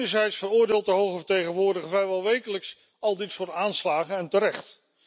Enerzijds veroordeelt de hoge vertegenwoordiger vrijwel wekelijks al dit soort aanslagen, en terecht.